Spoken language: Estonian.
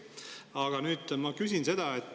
Aga nüüd ma küsin seda.